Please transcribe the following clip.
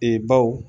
Ee baw